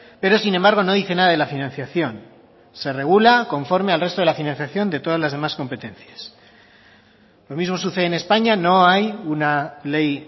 pero sin embargo no dice nada de la financiación se regula conforme al resto de la financiación de todas las demás competencias lo mismo sucede en españa no hay una ley